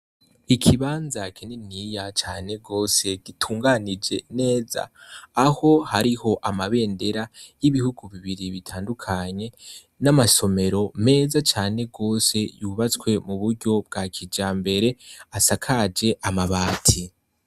Ikibanza kininiya cane gose gitunganije neza aho hariho amabendera y'ibihugu bibiri bitandukanye n'amasomero meza cane yubatswe m'uburyo bwa kijambere asakaje amabati.